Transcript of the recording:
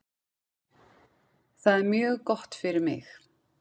Það er mjög gott fyrir mig.